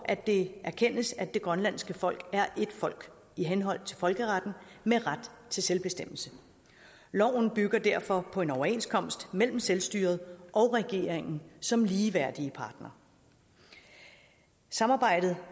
at det erkendes at det grønlandske folk er et folk i henhold til folkeretten med ret til selvbestemmelse loven bygger derfor på en overenskomst mellem selvstyret og regeringen som ligeværdige partnere samarbejdet